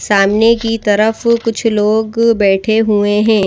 सामने की तरफ कुछ लोग बैठें हुए हैं।